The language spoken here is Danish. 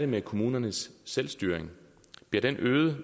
med kommunernes selvstyring bliver den øget